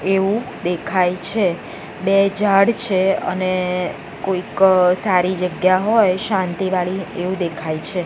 એવું દેખાય છે બે ઝાડ છે અને કોઈક સારી જગ્યા હોય શાંતિ વાળી એવું દેખાય છે.